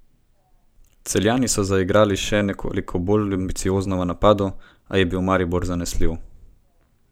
Celjani so zaigrali še nekoliko bolj ambiciozno v napadu, a je bil Maribor zanesljiv.